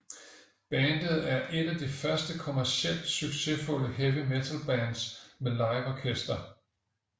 Bandet er et af de første kommercielt succesfulde heavy metal bands med live orkester